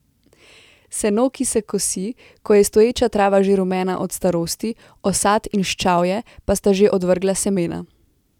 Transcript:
Seno se kosi, ko je stoječa trava že rumena od starosti, osat in ščavje pa sta že odvrgla semena.